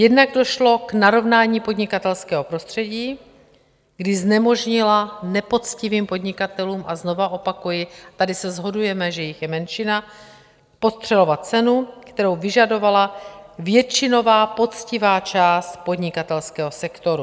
Jednak došlo k narovnání podnikatelského prostředí, kdy znemožnila nepoctivým podnikatelům - a znovu opakuji, tady se shodujeme, že jich je menšina - podstřelovat cenu, kterou vyžadovala většinová poctivá část podnikatelského sektoru.